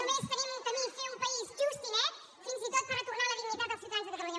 només tenim un camí fer un país just i net fins i tot per retornar la dignitat als ciutadans de catalunya